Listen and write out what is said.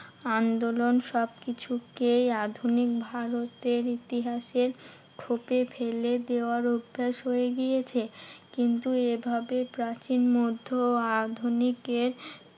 আন্দোলন সবকিছুকে আধুনিক ভারতের ইতিহাসের খোপে ফেলে দেওয়ার অভ্যেস হয়ে গিয়েছে। কিন্তু এভাবে প্রাচীন, মধ্য ও আধুনিকের